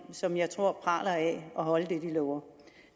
som jeg tror praler af at holde det de lover